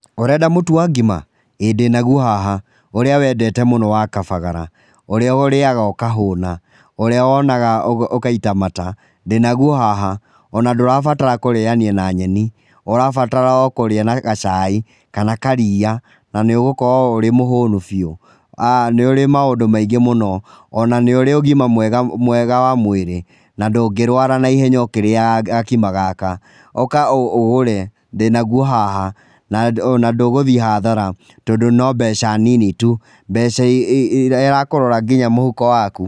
''Ũrenda mũtu wa ngima, ĩĩ ndĩnaguo haha, ũrĩa wendete mũno wa kabagara ũrĩa ũrĩaga ũkahũna, ũrĩa wonaga ũgaita mata ndĩnaguo haha ona ndũrabatara kũrĩania na nyeni ũrabatara oh kũrĩa na gacai kana karia na nĩũgũkorwo ũrĩ mũhũnũ biũ[uuhh]nĩ ũrĩ maũndũ maingĩ mũno ona nĩũrĩ ũgima mwega wa mwĩrĩ na ndũngĩrwara naihenya nginya ũkĩrĩaga gakima gaka, ũka ũgũre ndĩnawo haha ,ona ndũgũthiĩ hathara tondũ no mbeca nini tu, mbeca irakũrora irĩ mũhuko waku.''